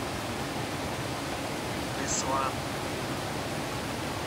беслан